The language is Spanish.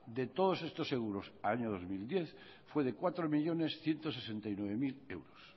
de todos estos seguros a año dos mil diez fue de cuatro millónes ciento sesenta y nueve mil euros